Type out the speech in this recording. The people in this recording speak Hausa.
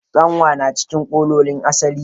Tsanwa na cikin kalolin asali.